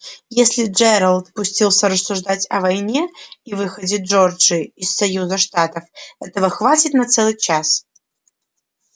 если джералд пустился рассуждать о войне и выходе джорджии из союза штатов этого хватит на целый час